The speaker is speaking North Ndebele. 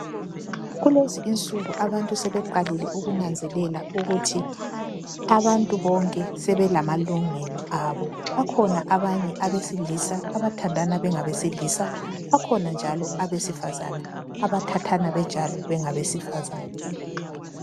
Kulezi insuku abantu sebeqalile ukunanzelela ukuthi abantu bonke sebelamalungelo abo. Bakhona abanye abesilisa abathandana bengabesilisa, bakhona njalo abesifazana abathathana benjalo bengabesifazana.